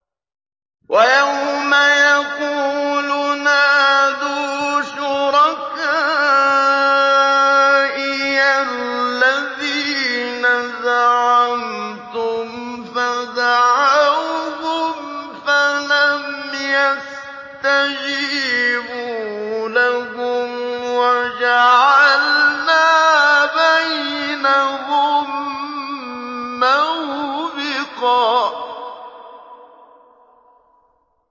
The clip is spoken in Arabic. وَيَوْمَ يَقُولُ نَادُوا شُرَكَائِيَ الَّذِينَ زَعَمْتُمْ فَدَعَوْهُمْ فَلَمْ يَسْتَجِيبُوا لَهُمْ وَجَعَلْنَا بَيْنَهُم مَّوْبِقًا